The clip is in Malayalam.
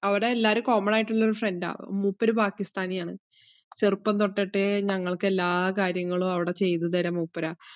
അവിടെ എല്ലാരും common ആയിട്ടുള്ളൊരു friend ആ മൂപ്പര് പാകിസ്‌ഥാനിയാണ്. ചെറുപ്പം തൊട്ടിട്ടേ ഞങ്ങൾക്ക് എല്ലാ കാര്യങ്ങളും അവിടെ ചെയ്തുതര മൂപ്പരാ.